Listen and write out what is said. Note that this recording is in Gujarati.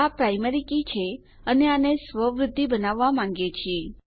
આ પ્રાયમરી કી છે અને આને સ્વ વૃદ્ધિ બનાવવા માંગીએ છીએ